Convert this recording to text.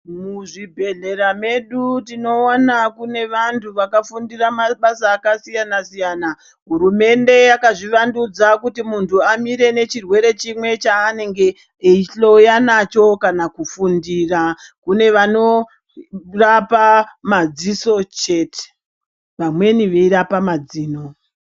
Muzvibhedhlera medu tinoona kunevantu vakafunda mabasa akasiyana siyana hurumende yakazvi vandudza kuti muntu amire nechirwere chimwe chanenge eyihloya nacho kana kufundira kune vanorapa madziso chete vamweni veirapa mazino.